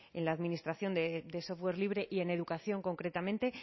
en la administración de software libre y en educación concretamente